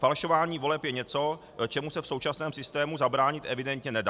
Falšování voleb je něco, čemu se v současném systému zabránit evidentně nedá.